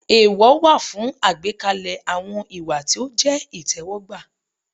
Èèwọ̀ wà fún àgbékalẹ̀ àwọn ìwà tí ó jẹ́ ìtẹ́wọ́gbà.